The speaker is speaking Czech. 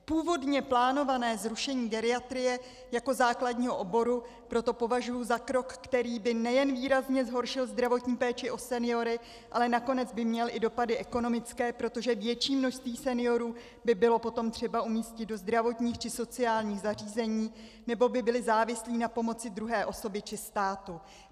Původně plánované zrušení geriatrie jako základního oboru proto považuju za krok, který by nejen výrazně zhoršil zdravotní péči o seniory, ale nakonec by měl i dopady ekonomické, protože větší množství seniorů by bylo potom třeba umístit do zdravotních či sociálních zařízení nebo by byli závislí na pomoci druhé osoby či státu.